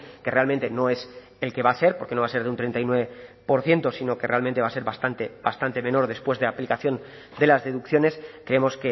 que realmente no es el que va a ser porque no va a ser de un treinta y nueve por ciento sino que realmente va a ser bastante bastante menor después de la aplicación de las deducciones creemos